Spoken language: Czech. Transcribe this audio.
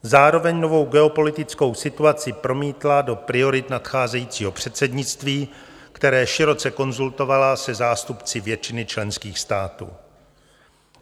Zároveň novou geopolitickou situaci promítla do priorit nadcházejícího předsednictví, které široce konzultovala se zástupci většiny členských států.